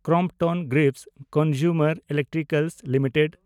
Crompton Greaves Consumer Electrical limited